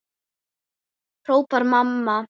hrópar mamma.